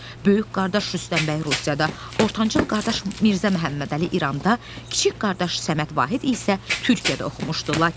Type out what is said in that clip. Böyük qardaş Rüstəm bəy Rusiyada, ortancıl qardaş Mirzə Məhəmmədəli İranda, kiçik qardaş Səməd Vahid isə Türkiyədə oxumuşdu.